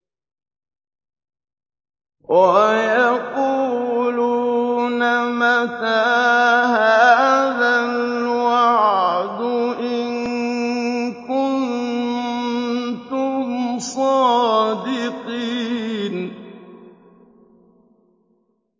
وَيَقُولُونَ مَتَىٰ هَٰذَا الْوَعْدُ إِن كُنتُمْ صَادِقِينَ